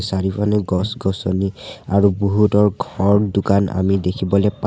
চাৰিওফালে গছ-গছনি আৰু বহুতৰ ঘৰ দোকান আমি দেখিবলৈ পাওঁ।